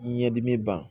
Ɲɛdimi ban